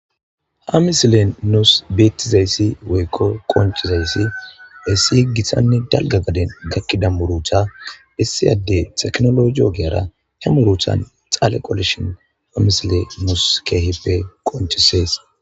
ha misilen nuus beettizayssi woykko qonchizayssi essi yeggisanni dalga gaden gakkida murucha issi adde teknologiogeyara e muruchan xaale qolishon ha misile mus keehippe qonchisees